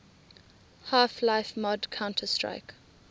half life mod counter strike